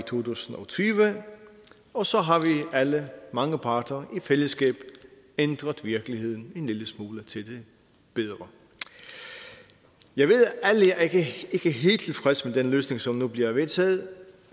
tusind og tyve og så har vi alle mange parter i fællesskab ændret virkeligheden en lille smule til det bedre jeg ved at alle ikke er helt tilfredse med den løsning som nu bliver vedtaget